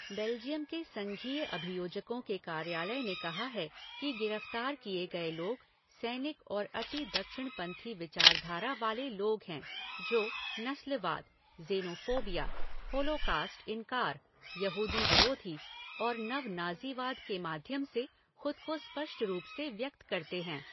Belgium के संघीय अभियोजकों के कार्यालय ने कहा है कि गिरफ्तार किए गए लोग सैनिक और अति दक्षिणपंथी विचारधारा वाले लोग हैं जो नस्लवाद, ज़ेनोफोबिया, होलोकॉस्ट इनकार, यहूदी विरोधी और नव नाज़ीवाद के माध्यम से खुद को स्पष्ट रूप से व्यक्त करते हैं।